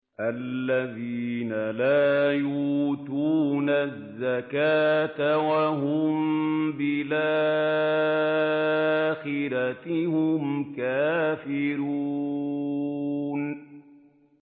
الَّذِينَ لَا يُؤْتُونَ الزَّكَاةَ وَهُم بِالْآخِرَةِ هُمْ كَافِرُونَ